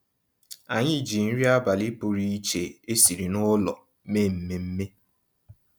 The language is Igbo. Ànyị́ jí nrí àbálị́ pụ̀rụ̀ iche ésìrí nụ́lọ̀ méé mmèmme.